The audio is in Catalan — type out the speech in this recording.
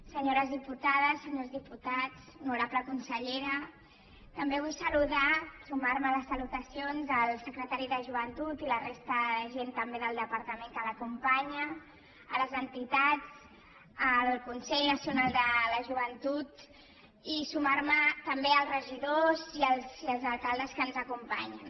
senyores diputades senyors diputats honorable consellera també vull saludar sumarme a les salutacions del secretari de joventut i la resta de gent també del departament que l’acompanya a les entitats al consell nacional de la joventut i sumar me també als regidors i els alcaldes que ens acompanyen